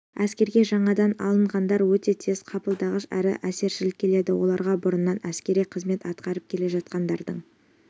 әскерге жаңадан алынғандар өте тез қабылдағыш әрі әсершіл келеді оларға бұрыннан әскери қызмет атқарып келе жатқандардың